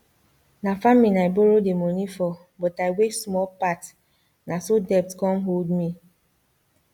na farming i borrow the money for but i waste small part na so debt come hold me